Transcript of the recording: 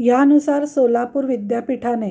यानुसार सोलापूर विद्यापीठाने